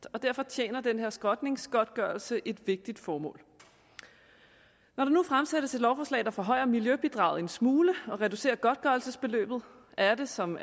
og derfor tjener den her skrotningsgodtgørelse et vigtigt formål når der nu fremsættes et lovforslag der forhøjer miljøbidraget en smule og reducerer godtgørelsesbeløbet er det som